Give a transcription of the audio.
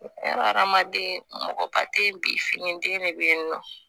Adamaden mɔgɔba te yen bi finiden de be yen nɔ